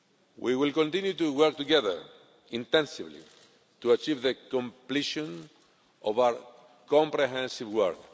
We will continue to work together intensively to achieve the completion of our comprehensive work.